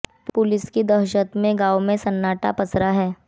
police की दहशत में गांव में सन्नाटा पसरा है